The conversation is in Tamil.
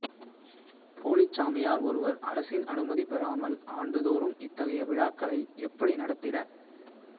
போலிச் சாமியார் ஒருவர் அரசின் அனுமதி பெறாமல்ஆண்டு தோறும் இத்தகைய விழாக்களை எப்படி நடத்திட